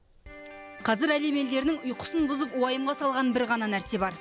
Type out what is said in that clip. қазір әлем елдерінің ұйқысын бұзып уайымға салған бір ғана нәрсе бар